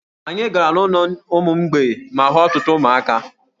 Anyị gara n'ụlọ ụmụ mgbei ma hụ ọtụtụ ụmụaka.